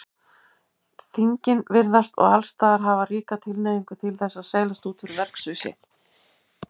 Þingin virðast og allsstaðar hafa ríka tilhneigingu til þess að seilast út fyrir verksvið sitt.